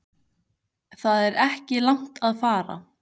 Það er ekki langt að fara.